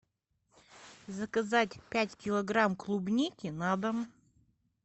заказать пять килограмм клубники на дом